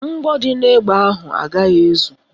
Mgbọ dị n'ebe ahụ agaghị ezu